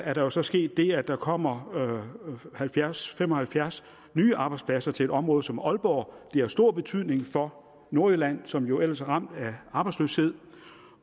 er der jo så sket det at der kommer halvfjerds til fem og halvfjerds nye arbejdspladser til et område som aalborg det har stor betydning for nordjylland som jo ellers er ramt af arbejdsløshed